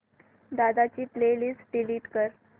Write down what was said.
दादा ची play list delete कर